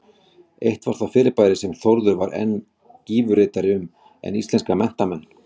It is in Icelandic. Eitt var það fyrirbæri sem Þórður var enn gífuryrtari um en íslenska menntamenn.